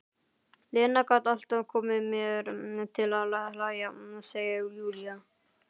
Lena gat alltaf komið mér til að hlæja, segir Júlía.